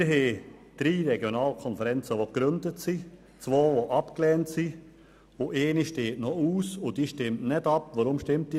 Wir haben drei gegründete Regionalkonferenzen, zwei, die abgelehnt wurden, und eine noch ausstehende, über die nicht abgestimmt wird.